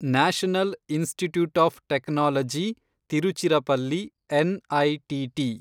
national institute of technology Tiruchirappalli, NITT